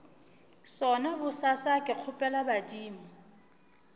sona bosasa ke kgopela badimo